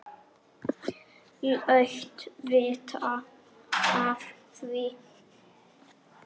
Láttu vita af því.